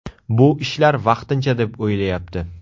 Bu ishlar vaqtincha deb o‘ylayapti.